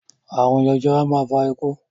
Àrun jẹjẹrẹ a máa fa ikú